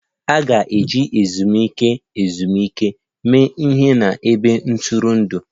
A ga-eji ezumike ezumike mee ihe n'ebe ntụrụndụ